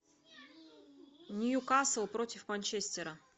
ньюкасл против манчестера